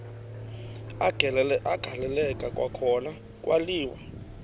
agaleleka kwakhona kwaliwa